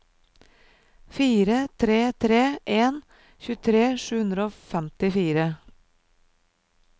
fire tre tre en tjuetre sju hundre og femtifire